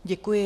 Děkuji.